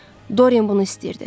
Doryan bunu istəyirdi.